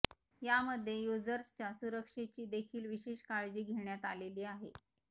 यामध्ये युजर्सच्या सुरक्षेची देखील विशेष काळजी घेण्यात आलेली आहे